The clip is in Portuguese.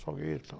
Salgueiro e tal.